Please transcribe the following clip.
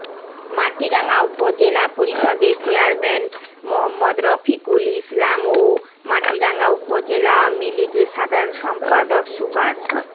মাটিরাঙ্গা উপজেলা পরিষদের চেয়ারম্যান মোঃ রফিকুল ইসলাম ও মাটিরাঙ্গা উপজেলা আওয়ামীলীগের সাধারণ সম্পাদক সুবাস